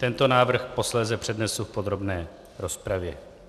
Tento návrh posléze přednesu v podrobné rozpravě.